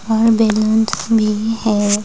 और बैलून्स भी है।